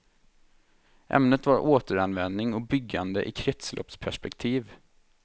Ämnet var återanvändning och byggande i kretsloppsperspektiv.